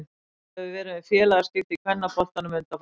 Nokkuð hefur verið um félagaskipti í kvennaboltanum undanfarna daga.